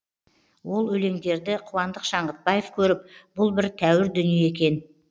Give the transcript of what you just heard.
ол өлеңдерді қуандық шаңғытбаев көріп бұл бір тәуір дүние екен